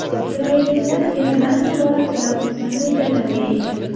Isroilliklar Iordaniya borasida ulkan rejalarga ega.